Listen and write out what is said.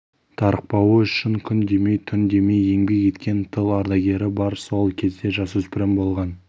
тарықпауы үшін күн демей түн демей еңбек еткен тыл ардагері бар сол кезде жасөспірім болған